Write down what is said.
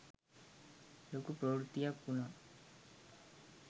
ලොකු ප්‍රවෘත්තියක් වුණා.